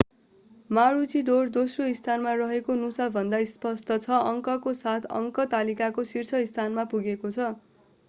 मारुचीडोर दोस्रो स्थानमा रहेको नुसा भन्दा स्पष्ट छ अङ्कको साथ अङ्क तालिकाको शीर्ष स्थानमा पुगेको थियो